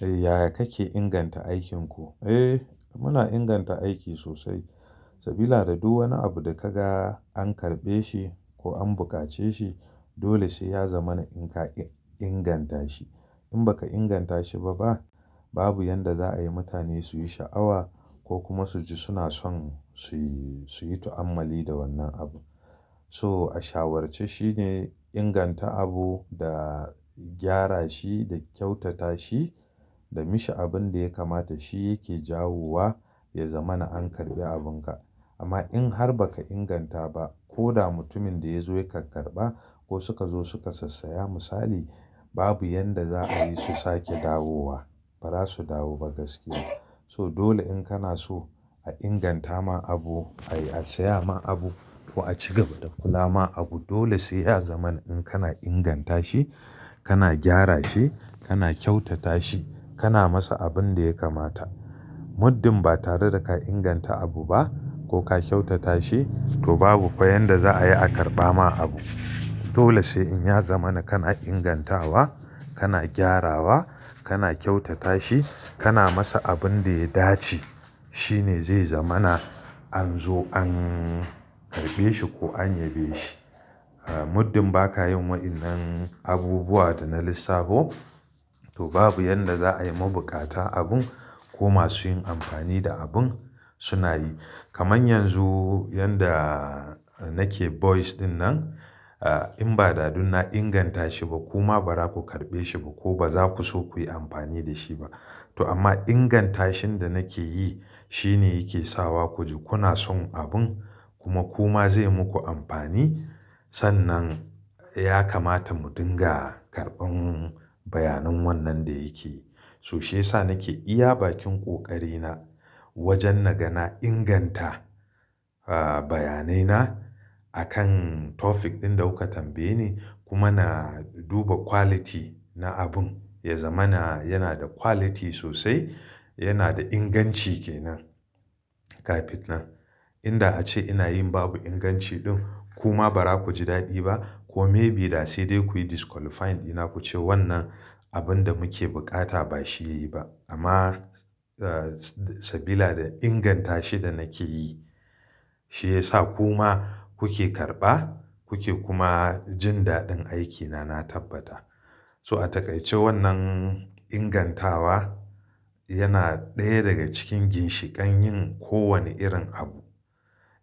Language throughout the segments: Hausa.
Yaya kake inganta aikinku? Eh muna inganta aiki sosai. Sabila da duk wani abu da ka ga an karɓe shi ko an buƙace shi dole sai ya zama na inka inganta shi. In baka inganta shi ba babu yanda za a yi mutane su yi sha'awa ko kuma su ji suna son su yi su yi tu'ammali da wannan abun. So a shawarce shine inganta abu da gyara shi da kyautata shi da mishi abin da ya kamata shi yake jawo wa ya zama na an karɓi abin ka. Amma in har baka inganta ba ko da mutumin da ya zo ya ka karɓa ko suka zo suka sassaya misali babu yanda za a yi su sake dawowa. Ba za su dawo ba gaskiya. So dole in kana so a inganta ma abu, a saya ma abu ko a ci gaba da kula ma abu dole sai ya zama na in kana inganta shi, kana gyara shi, kana kyautata shi, kana masa abin da ya kamata. Muddin ba tare da ka inganta abu ba ko ka kyautata shi to babu fa yanda za a yi a karɓa ma abu. Dole sai in ya zama na kana ingantawa, kana gyarawa, kana kyautata shi, kana masa abin da ya dace. Shi ne zai zama na an zo an karɓe shi ko an yabe shi. Ah muddin baka yi wa'innan abubuwa da na lissafo to babu yanda za a yi ma bukata abun ko masu yin amfani da abun suna yi. Kaman yanzu yanda nake voice ɗin nan ah in ba dadun na inganta shi ba kuma ba za ku karɓe shi ba ko ba za ku so ku yi amfani da shi ba. To amma ingantashin da nake yi shi ne yake sawa ku ji kuna son abun kuma kuma zai muku amfani. Sannan ya kamata mu dinga karɓan bayanan wannan da yake. To shi ya sa nake iya bakin ƙoƙari na wajen na ga na inganta ah bayanai na akan topic ɗin da kuka tambaye ni kuma na duba quality na abun ya zama na yana da quality sosai, yana da inganci ke nan kafin nan. Inda ace ina yin babu inganci ɗin kuma ba za ku ji daɗi ba ko maybe da sai dai kuyi disqualifying dina ku ce wannan abin da muke bukata ba shi yayi ba. Amma ah s sabila da ingantashi da nake yi shi ya sa kuma kuke karɓa, kuke kuma jin daɗin aikina na tabbata. So a takaice wannan ingantawa yana ɗaya daga cikin ginshiƙan yin kowane irin abu.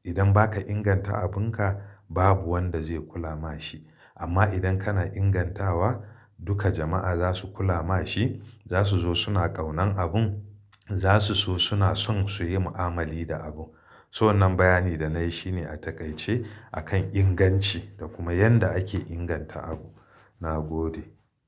Idan baka inganta abin ka babu wanda zai kula ma shi. Amma idan kana ingantawa duka jama'a za su kula ma shi. Za su zo suna ƙaunan abun, za su so suna son su yi mu'amali da abu. To wannan bayani da nayi shine a takaice akan inganci da kuma yanda ake inganta abu. Na gode.